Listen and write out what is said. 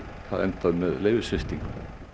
það endað með leyfissviptingu